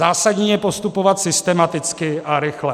Zásadní je postupovat systematicky a rychle.